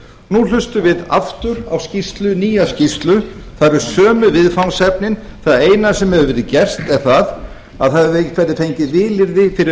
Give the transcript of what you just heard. nú hlustum við aftur á nýja skýrslu það eru sömu viðfangsefni það eina sem hefur verið gert er að það hefur einhver fengið vilyrði fyrir